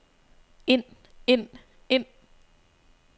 ind ind ind